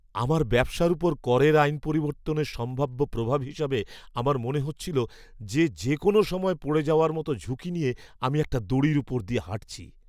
আমার ব্যবসার উপর করের আইন পরিবর্তনের সম্ভাব্য প্রভাব হিসেবে আমার মনে হচ্ছিল যে যেকোনও সময় পড়ে যাওয়ার মতো ঝুঁকি নিয়ে আমি একটা দড়ির উপর দিয়ে হাঁটছি।